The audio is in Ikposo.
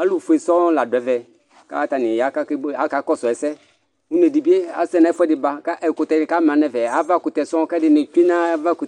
Alʋfue sɔŋ ladʋ ɛvɛ kʋ atani ya kʋ akakɔsʋ ɛsɛ une dibi asɛ nʋ ɛfʋɛdi ba kʋ ɛkʋtɛ ni kʋ ama nʋ ɛfɛ avakʋtɛ sɔŋ kʋ ɛdini tsue nʋ ava kʋ